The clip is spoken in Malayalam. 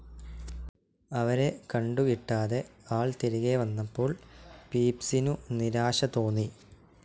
അവരെ കണ്ടുകിട്ടാതെ ആൾ തിരികെവന്നപ്പോൾ പീപ്സിനു നിരാശ തോന്നി.